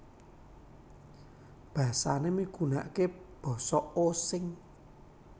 Basané migunakaké Basa Osing